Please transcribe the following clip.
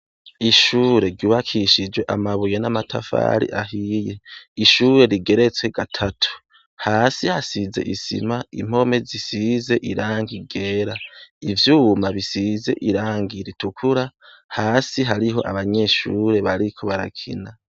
Ishure ryubakishije amabuye n’amatafari ahiye, ishure rigeretse gatatu, hasi hasize isima impome zisize irangi ryera, ivyuma bisize irangi ritukura, hasi hariho abanyeshure bariko barakina.